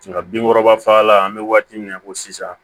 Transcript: Nka binkɔrɔba fagalan an bɛ waati min na i ko sisan